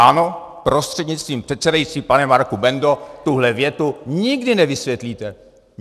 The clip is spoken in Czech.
Ano, prostřednictvím předsedajícího pane Marku Bendo, tuhle větu nikdy nevysvětlíte!